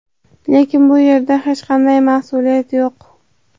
Lekin bu yerda hech qanday mas’uliyat yo‘q.